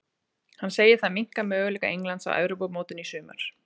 Hann segir það minnka möguleika Englands á Evrópumótinu í sumar.